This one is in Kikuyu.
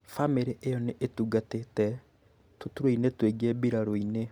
Famĩrĩ ĩyo nĩ ĩtungatĩte tũturwa-inĩ tũingĩ mbirarũ-inĩ